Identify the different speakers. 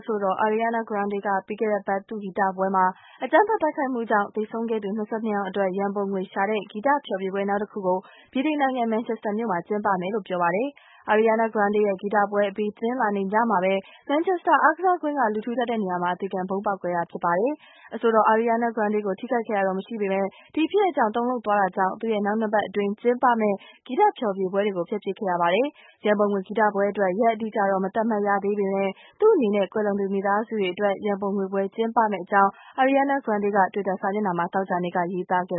Speaker 1: ဆိုတော် Ariana Grande က ပြီးခဲ့တဲ့အပတ် သူ့ဂီတပွဲမှာ အကြမ်းဖက်တိုက်ခိုက်မှုကြောင့် သေဆုံးခဲ့တဲ့သူ ၂၂ ယောက်အတွက် ရန်ပုံငွေရှာတဲ့ ဂီတဖျော်ဖြေပွဲတစ်ခု ဗြိတိန်နိုင်ငံ မန်ချက်စတာမြို့မှာ ကျင်းပမယ်လို့ ပြောပါတယ်။ Ariana Grande ရဲ့ ဂီတပွဲအပြီး တနင်္လာနေ့ညမှာပဲ မန်ချက်စတာအားကစားကွင်းက လူထူထပ်တဲ့နေရာမှာ အသေခံဗုံးခွဲခဲ့တာ ဖြစ်ပါတယ်။ အဆိုတော် Ariana Grande ကို ထိခိုက်ခဲ့တာတော့မရှိပေမယ့် ဒီဖြစ်ရပ်ကြောင့် တုန်လှုပ်သွားတာကြောင့် သူ့ရဲ့ နောက်၂ပတ်အတွင်း ကျင်းပမယ့် ဂီတဖျော်ဖြေပွဲတွေကို ဖျက်ပစ်ခဲ့ပါတယ်။ ရန်ပုံငွေဂီတပွဲအတွက် ရက်အတိအကျတော့ မသတ်မှတ်ရသေးပေမယ့် သူ့အနေနဲ့ ကွယ်လွန်သူမိသားစုတွေအတွက် ရန်ပုံငွေပွဲ ကျင်းပမယ့်အကြောင်းတွေ Ariana Grande က twitter စာမျက်နှာမှာ သောကြာနေ့
Speaker 2: က ရေးသားခဲ့